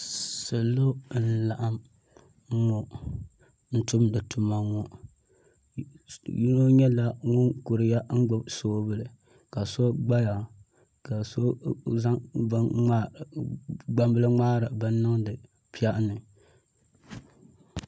salo n-laɣim ŋɔ n-tumdi tuma ŋɔ yino nyɛla ŋun kuriya n-gbubi soobuli ka so gbaya ka so zaŋ gbambila n-ŋmaari bini niŋdi piɛɣu ni